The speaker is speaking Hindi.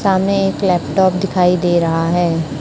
सामने एक लैपटॉप दिखाई दे रहा है।